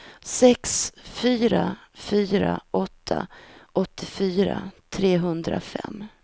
sex fyra fyra åtta åttiofyra trehundrafem